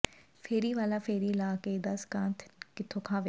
ਫੇਰੀ ਵਾਲਾ ਫੇਰੀ ਲਾ ਕੇ ਦੱਸ ਖਾਂ ਕਿੱਥੋਂ ਖਾਵੇ